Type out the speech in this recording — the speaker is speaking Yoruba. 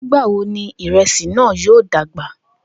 Nigbawo ni iresi naa yoo dagba?